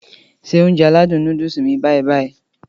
Se Ounjẹ aládùn nóódùsì mi báyì-báyì